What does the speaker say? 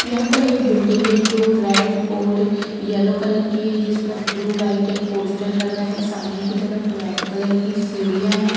यहां पर एक बिल्डिंग है जो रेड और येलो कलर की है जिस पर ब्लू व्हाइट एक पोस्टर लगा है सामने की तरफ रेड कलर की सीढ़ियां है।